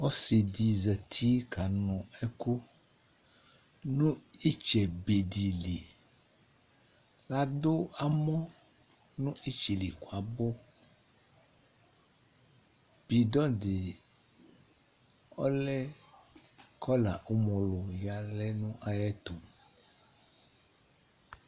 Ɔsìɖì zati ƙanʋɛƙʋ nʋ ìtsɛ be dìliAɖʋ amɔ nʋ ìtsɛ ƴɛli ƙʋabʋBìɖɔɖì ɔlɛ ƙɔla umolu ƴalɛ nʋ aƴɛtʋ